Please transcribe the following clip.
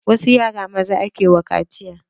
Wasu yara maza ake ma kaciya.